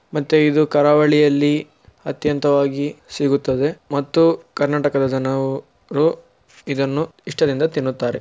ಮತ್ತೆ ಇದು ಕರಾವಳಿಯಲ್ಲಿ ಅತ್ಯಂತವಾಗಿ ಸಿಗುತ್ತದೆ ಮತ್ತು ಕರ್ನಾಟಕದ ಜನವುರು ಇದನ್ನು ಇಷ್ಟದಿಂದ ತಿನ್ನುತ್ತಾರೆ